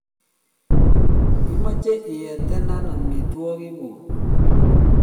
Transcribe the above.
imache iete ne amitwog'ik guuk